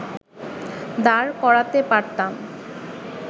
দাঁড় করাতে পারতাম